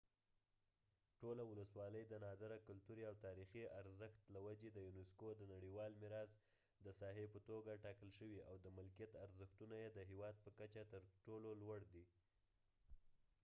ټوله ولسوالۍ د نادره کلتوري او تاریخي ارزښت له وجې د یونیسکو د نړیوال میراث د ساحې په توګه ټاکل شوې او د ملکیت ارزښتونه یې د هیواد په کچه تر ټولو لوړ دی